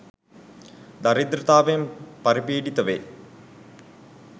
දරිද්‍රතාවෙන් පරි පීඩිත වේ